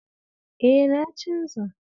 E, na canza.